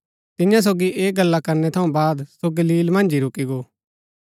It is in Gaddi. तियां सोगी ऐह गल्ला करणै थऊँ बाद सो गलील मन्ज ही रूकी गो